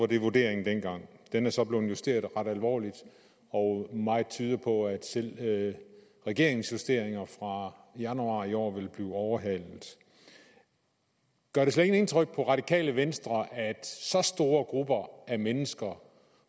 den vurdering er så blevet justeret ret alvorligt og meget tyder på at selv regeringens justeringer fra januar i år vil blive overhalet gør det slet ikke indtryk på radikale venstre at så store grupper af mennesker